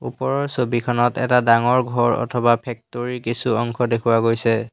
ওপৰৰ ছবিখনত এটা ডাঙৰ ঘৰ অথবা ফেক্টৰী কিছু অংশ দেখুওৱা গৈছে।